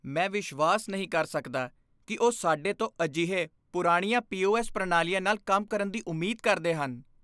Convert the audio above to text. ਮੈਂ ਵਿਸ਼ਵਾਸ ਨਹੀਂ ਕਰ ਸਕਦਾ ਕਿ ਉਹ ਸਾਡੇ ਤੋਂ ਅਜਿਹੇ ਪੁਰਾਣੀਆਂ ਪੀ.ਓ.ਐੱਸ. ਪ੍ਰਣਾਲੀਆਂ ਨਾਲ ਕੰਮ ਕਰਨ ਦੀ ਉਮੀਦ ਕਰਦੇ ਹਨ।